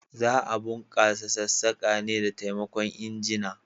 Za a bunkasa sassaka ne da taimakon injina.